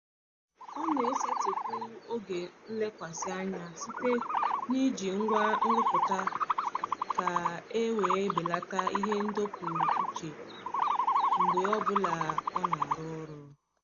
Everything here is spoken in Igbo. Ọ na-esetịpụ oge nlekwasị anya site n'iji ngwa nrụpụta ka e wee belata ihe ndọpụ uche mgbe ọbụla ọ na-arụ ọrụ.